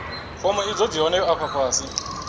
fomo idzo dzi hone afho fhasi